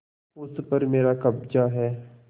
उस पर मेरा कब्जा है